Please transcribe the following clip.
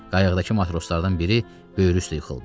Qayıqdakı matroslardan biri böyrü üstə yıxıldı.